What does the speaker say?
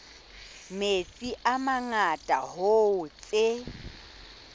metsi a mangata hoo tse